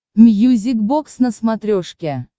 мьюзик бокс на смотрешке